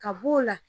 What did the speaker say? Ka b'o la